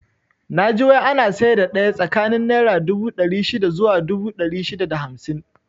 Naji wai ana saida daya tsakanin naira dubu ɗari shida zuwa dubu ɗari shida da hamsin